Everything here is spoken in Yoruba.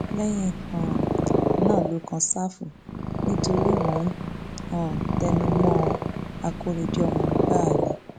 lẹyìn um náà ló kan ṣáfù nítorí mò ń um tẹnu mọ ọn akóredé ọmọ gbáà ni